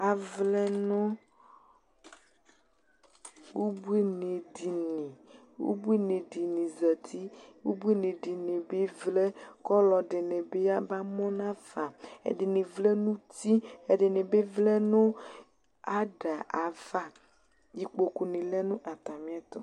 Avlɛ nʋ ubuinɩdini. Ubuinɩ dɩnɩ zati, ubuinɩ dɩnɩ bɩ vlɛ kʋ ɔlɔdɩnɩ bɩ yaba mʋ nafa. Ɛdɩnɩ vlɛ nʋ uti, ɛdɩnɩ bɩ vlɛ nʋ ada ava. Ikpokunɩ lɛ nʋ atamɩɛtʋ.